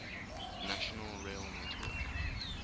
national rail network